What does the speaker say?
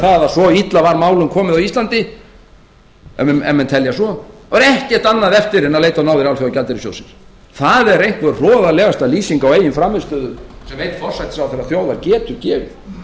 það að svo illa var málum komið á íslandi ef menn telja svo og ekkert annað eftir en að leita á náðir alþjóðagjaldeyrissjóðsins það er einhver hroðalegasta lýsing á eigin frammistöðu sem einn forsætisráðherra þjóðar geti gefið